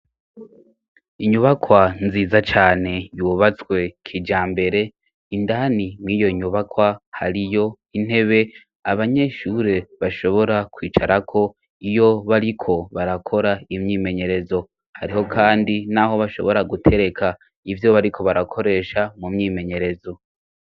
Inyubakwa nziza cane yubatswe kija mbere indani mw'iyo nyubakwa hariyo intebe abanyeshure bashobora kwicarako iyo bariko barakora imyimenyerezo hariho, kandi, naho bashobora gutereka ivyo bariko barakoresha mu myimenyerezo za.